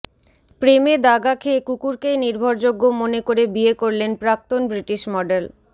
প্রেমে দাগা খেয়ে কুকুরকেই নির্ভরযোগ্য মনে করে বিয়ে করলেন প্রাক্তন ব্রিটিশ মডেল